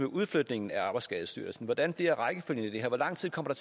udflytningen af arbejdsskadestyrelsen hvordan bliver rækkefølgen i det her hvor lang tid kommer